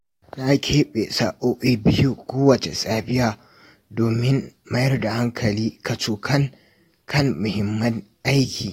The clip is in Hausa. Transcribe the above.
Na keɓe sa’o’i biyu kowace safiya domin mayar da hankali kacokan a kan muhimmin aiki.